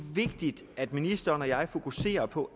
vigtigt at ministeren og jeg fokuserer på